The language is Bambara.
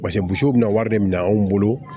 bɛna wari de minɛ anw bolo